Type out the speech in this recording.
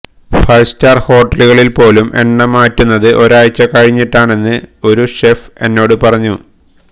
five star ഹോട്ടലുകളില് പോലും എണ്ണ മാറ്റുന്നത് ഒരാഴ്ച്ച കഴിഞ്ഞിട്ടാണെന്ന് ഒരു ഷെഫ് എന്നോട് പറഞ്ഞു